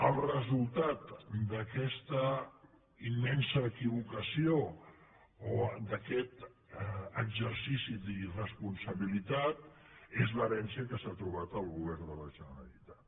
el resultat d’aquesta immensa equivocació o d’aquest exercici d’irresponsabilitat és l’herència que s’ha trobat el govern de la generalitat